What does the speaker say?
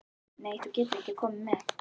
Nei, þú getur ekki komið með.